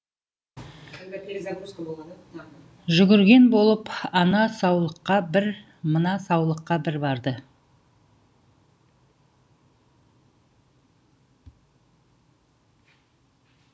жүгірген болып ана саулыққа бір мына саулыққа бір барды